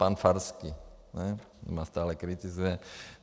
Pan Farský, ten mě stále kritizuje.